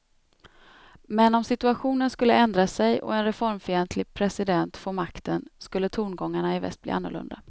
Men om situationen skulle ändra sig och en reformfientlig president få makten skulle tongångarna i väst bli annorlunda.